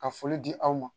Ka foli di aw ma